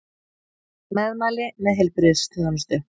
Meðmæli með heilbrigðisþjónustu